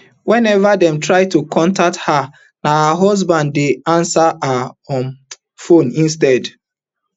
whenever dem try to contact her na her husband dey ansa her um phone instead